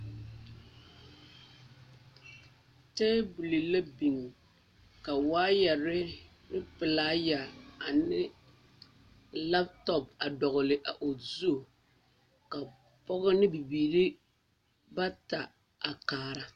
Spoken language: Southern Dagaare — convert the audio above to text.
Tabole la biŋ ka waayɛ ane pelaayɛrɛɛ a le lantɔŋ a dɔgle o su ka pɔge ane bibiiri a are a kaara